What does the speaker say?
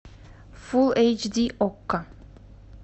фул эйч ди окко